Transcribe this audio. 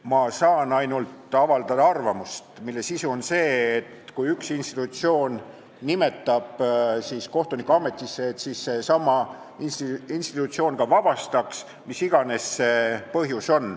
Ma saan avaldada ainult arvamust, mille sisu on see, et kui üks institutsioon nimetab kohtuniku ametisse, siis sama institutsioon võiks ta ka ametist vabastada, mis iganes see põhjus siis on.